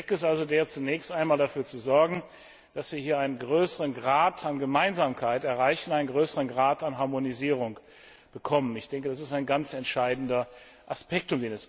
Der Zweck ist also der, zunächst einmal dafür zu sorgen, dass wir hier einen größeren Grad an Gemeinsamkeit erreichen, einen größeren Grad an Harmonisierung bekommen. Das ist ein ganz entscheidender Aspekt.